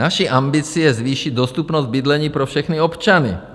Naší ambicí je zvýšit dostupnost bydlení pro všechny občany.